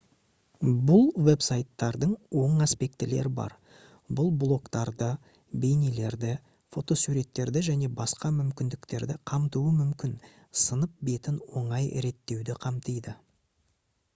бұл веб-сайттардың оң аспектілері бар бұл блогтарды бейнелерді фотосуреттерді және басқа мүмкіндіктерді қамтуы мүмкін сынып бетін оңай реттеуді қамтиды